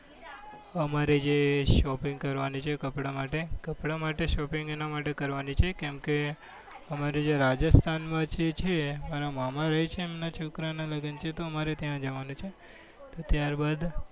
અમારે જે shopping કરવાની છે કપડા માટે કપડા માટે. shopping એના માટે કરવાની કેમકે અમારે જે રાજસ્થાનના છે અમારા મામા રહે છે એમના છોકરાના લગ્ન છે તો અમારે ત્યાં જવાનું છે. ત્યારબાદ